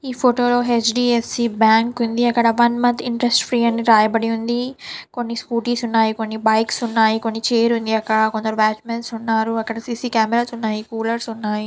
ఈ ఫోటో లోహెచ్ .D F . C . Bank ఉంది. అక్కడ వన్ మంత్ ఇంటరెస్ట్ ఫ్రీ అని రాయబడి ఉన్నది. కొన్ని స్కూటీస్ ఉన్నాయి. కొన్ని బైక్స్ ఉన్నాయి. కొన్ని ఛైర్స్ ఉన్నాయి. కొంతమంది బయట నిలబడి ఉన్నారు. అక్కడ సీ--సీ కెమెరాస్ ఉన్నాయి. కూలర్లు ఉన్నాయి.